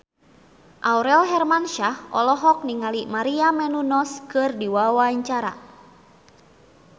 Aurel Hermansyah olohok ningali Maria Menounos keur diwawancara